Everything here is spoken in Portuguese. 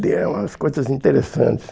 Tem umas coisas interessantes.